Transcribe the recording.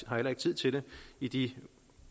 har heller ikke tid til det i de